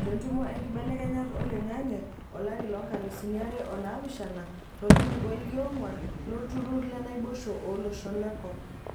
tentumo enkibelekenyat oling'ang'e olari loonkalusi are oo naapishana tolkilikuai loongwan lolturur le naboisho ooloshon lenkop.